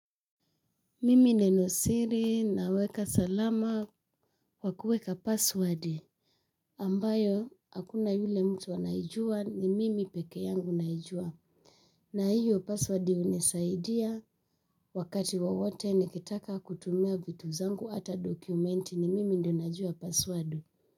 Mimi nenosiri naweka salama kwa kueka password ambayo, hakuna yule mtu anaijua ni mimi pekee yangu naijua. Na hiyo password hunisaidia wakati wowote nikitaka kutumia vitu zangu hata documenti ni mimi ndio najua password.